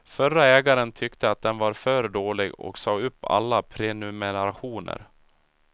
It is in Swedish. Förre ägaren tyckte att den var för dålig och sa upp alla prenumerationer.